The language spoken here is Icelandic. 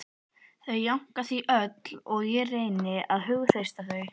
Þau jánka því öll og ég reyni að hughreysta þau